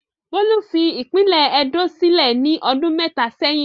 Bólú fi ìpínlẹ̀ Edó sílẹ̀ ní ọdún mẹ́ta sẹ́yìn.